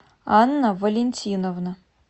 анна валентиновна